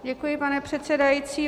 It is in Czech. Děkuji, pane předsedající.